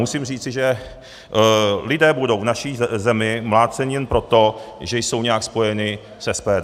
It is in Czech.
Musím říci, že lidé budou v naší zemi mláceni jen proto, že jsou nějak spojeni s SPD?